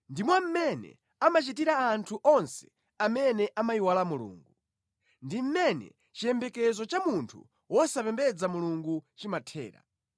Ndimo mmene amachitira anthu onse amene amayiwala Mulungu; ndi mmene chiyembekezo cha munthu wosapembedza Mulungu chimathera.